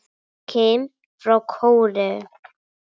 Kim frá Kóreu